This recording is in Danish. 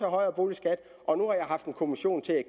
højere boligskatter og nu har jeg haft en kommission til at